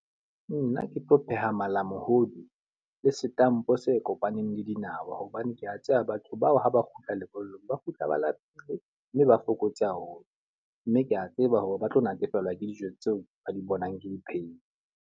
Nna ke tlo pheha malamohodi le setampo se kopaneng le dinawa. Hobane ke a tseba batho bao ha ba kgutla lebollong, ba kgutla ba lapile mme ba fokotse haholo. Mme ke a tseba hore ba tlo natefelwa ke dijo tseo ba di bonang ke di phehile.